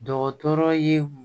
Dɔgɔtɔrɔ ye